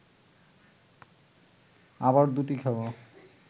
আবার দুটি খাব